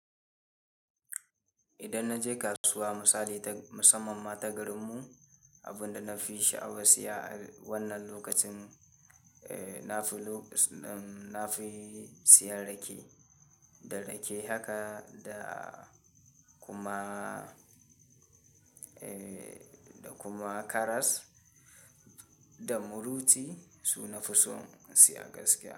Idan na je kasuwa misali ta musamman ma ta garinmu, abunda na fi sha'awan siya a wannan lokacin, eh nafi lok-- nafi siyan rake. Da rake haka da kuma, eh da kuma karas da muruci, su nafi son siya gaskiya.